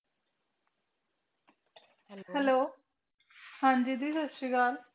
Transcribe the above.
hello ਹਨ ਜੀ ਜੀ ਸੱਤ ਸ੍ਰੀ ਅਕਾਲ